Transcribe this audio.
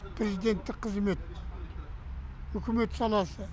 президенттік қызмет үкімет саласы